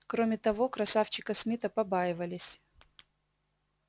кроме того красавчика смита побаивались